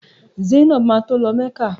Zainab ma tó lọ mecca.